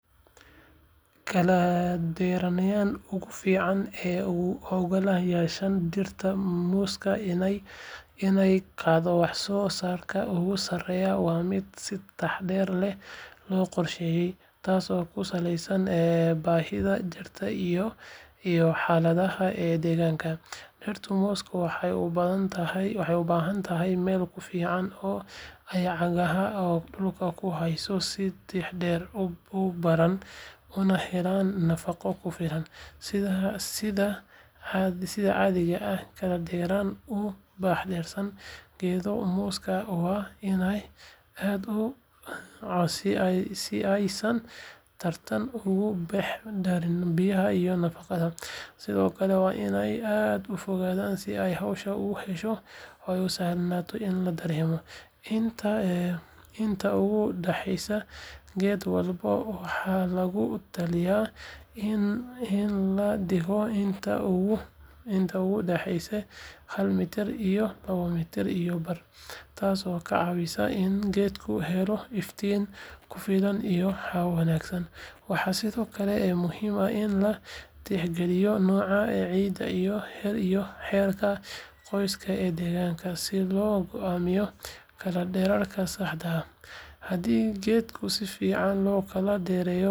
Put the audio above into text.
Kala dheeraynta ugu fiican ee u oggolaanaysa dhirta muuska inay gaadho wax soo saarka ugu sarreeya waa mid si taxadar leh loo qorsheeyo taasoo ku saleysan baahida dhirta iyo xaaladaha deegaanka. Dhirta muuska waxay u baahan tahay meel ku filan oo ay cagaha dhulka ku hayso si xididdada u balaaraan una helaan nafaqo ku filan. Sida caadiga ah, kala dheeraynta u dhaxeysa geedaha muuska waa inaysan aad u dhowaan si aysan tartan uga dhex dhalan biyaha iyo nafaqada, sidoo kale waa inaysan aad u fogaan si ay hawada u hesho oo u sahlanaato in la daryeelo. Inta u dhexeysa geed walba waxaa lagu talinayaa in la dhigo inta u dhexeysa hal mitir iyo hal mitir iyo badh, taasoo ka caawisa in geedku helo iftiin ku filan iyo hawo wanaagsan. Waxaa sidoo kale muhiim ah in la tixgeliyo nooca ciidda iyo heerka qoyaan ee deegaanka si loo go'aamiyo kala dheeraynta saxda ah. Haddii geedaha si fiican loo kala dheereeyo, wax soo saarka muuska wuu kordhaa, miraha waxay noqdaan kuwo tayo wanaagsan leh, waxaana yaraada cudurada iyo cayayaanka. Sidaa darteed, qorsheynta kala dheeraynta geedaha muuska waa tallaabo muhiim ah oo lagu gaari karo wax soo saar sare oo joogto ah.